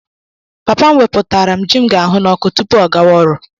Papa m weputara m ji m ga-ahụ n'ọkụ tupu ọ gawa ọrụ.